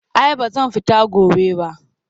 Ai ba zan fita gobe ba